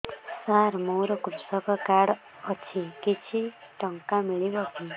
ସାର ମୋର୍ କୃଷକ କାର୍ଡ ଅଛି କିଛି ଟଙ୍କା ମିଳିବ କି